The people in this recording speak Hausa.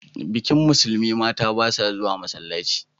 Bikin Musulmi, mata ba sa zuwa masallaci.